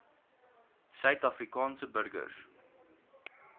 suid afrikaanse burgers